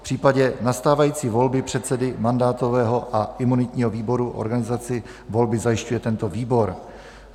V případě nastávající volby předsedy mandátového a imunitního výboru organizaci volby zajišťuje tento výbor.